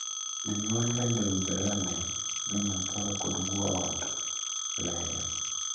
Jonyuol bende owinjore onee ni nyambura kod guo ot leyo.